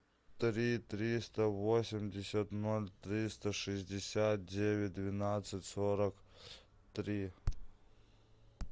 три триста восемьдесят ноль триста шестьдесят девять двенадцать сорок три